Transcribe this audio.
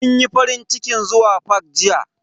Mun yi farincikin zuwa fak jiya.